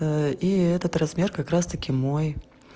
и этот размер как раз-таки мой